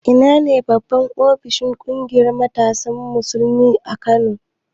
Ina ne babban ofishin ƙungiyar matasan Musulmin Kano?